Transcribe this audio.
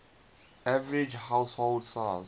average household size